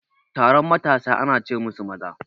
Taron matasa ana ce musu maza